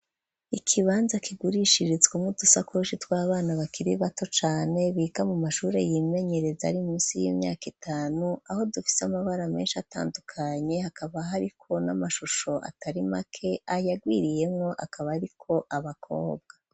Ikibanza kigurishiritswa nko dusakoshi tw'abana bakiri bato cane biga mu mashuri y'imenyereza ari minsi y'imyaka itanu aho dufise amabara menshi atandukanye hakaba hariko n'amashusho atari make ayagwiriyemwo akaba ariko abakobwa.